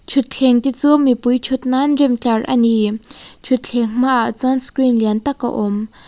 thutthleng te chu mipui thut nan rem tlar a ni thutthleng hmaah chuan screen lian tak a awm.